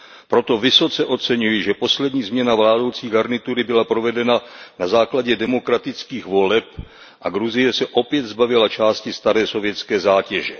Proto vysoce oceňuji, že poslední změna vládnoucí garnitury byla provedena na základě demokratických voleb a Gruzie se opět zbavila části staré sovětské zátěže.